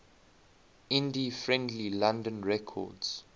indie friendly london records